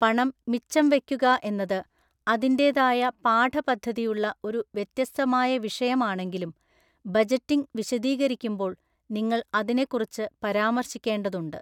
പണം മിച്ചം വയ്ക്കുക എന്നത് അതിന്റേതായ പാഠപദ്ധതിയുള്ള ഒരു വ്യത്യസ്തമായ വിഷയമാണെങ്കിലും, ബജറ്റിംഗ് വിശദീകരിക്കുമ്പോൾ നിങ്ങൾ അതിനെക്കുറിച്ച് പരാമർശിക്കേണ്ടതുണ്ട്.